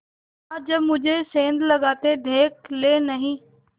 हाँ जब मुझे सेंध लगाते देख लेनहीं